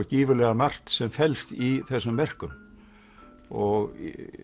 gífurlega margt sem felst í þessum verkum og